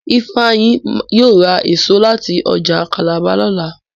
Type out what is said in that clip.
Ifeanyi yíò ra èso láti ọjà Calabar lọla